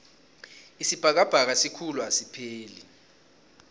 isibhakabhaka sikhulu asipheleli